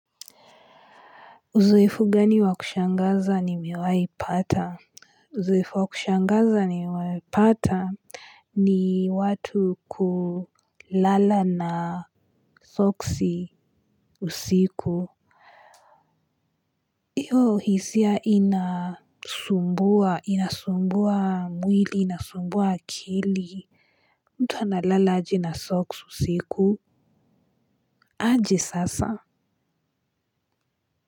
Uzoefu gani wa kushangaza nimewahi paa. Uzoefu wakushangaza nimewahi pata ni watu kulala na soksi usiku. Hiyo hisia inasumbua inasumbua mwili inasumbua akili. Mtu analala aje na soksi usiku. Aje sasa.